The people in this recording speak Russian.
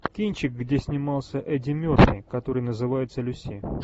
кинчик где снимался эдди мерфи который называется люси